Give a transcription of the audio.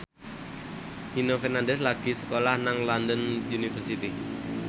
Nino Fernandez lagi sekolah nang London University